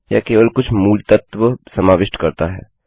यह केवल कुछ मूलतत्वबैसिक्ससमाविष्ट करता है